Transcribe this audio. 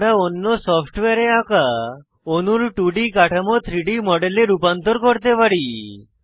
আমরা অন্য সফ্টওয়্যারে আঁকা অণুর 2ডি কাঠামো 3ডি মডেলে রূপান্তর করতে পারি